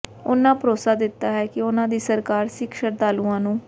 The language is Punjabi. ਉਨ੍ਹਾਂ ਭਰੋਸਾ ਦਿੱਤਾ ਕਿ ਉਨ੍ਹਾਂ ਦੀ ਸਰਕਾਰ ਸਿੱਖ ਸ਼ਰਧਾਲੂਆਂ ਨੂੰ